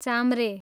चाम्रे